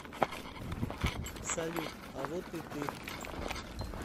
салют а вот и ты